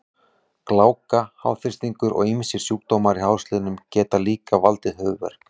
Gláka, háþrýstingur og ýmsir sjúkdómar í hálsliðum geta líka valdið höfuðverk.